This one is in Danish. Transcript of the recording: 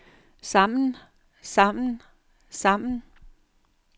sammen sammen sammen